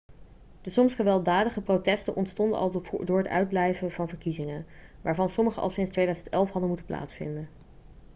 de soms gewelddadige protesten ontstonden door het uitblijven van verkiezingen waarvan sommige al sinds 2011 hadden moeten plaatsvinden